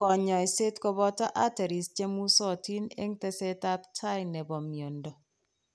Kanyoiseet kobooto arteries chemusotin eng' teseet ab tai nebo miondo